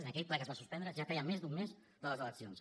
aquell ple que es va suspendre ja feia més d’un mes de les eleccions